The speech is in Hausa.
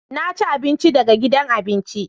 Na ci abinci daga gidan abinci